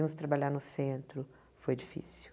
Iamos trabalhar no centro, foi difícil.